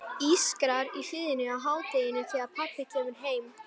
Ískrar í hliðinu á hádegi þegar pabbi kemur heim.